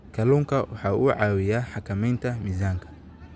Kalluunku waxa uu caawiyaa xakamaynta miisaanka.